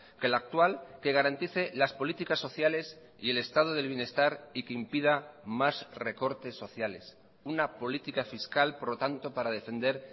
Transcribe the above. que la actual que garantice las políticas sociales y el estado del bienestar y que impida más recortes sociales una política fiscal por lo tanto para defender